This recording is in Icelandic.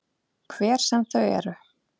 Hver sem þau eru.